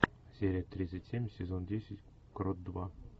серия тридцать семь сезон десять крот два